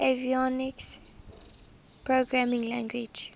avionics programming language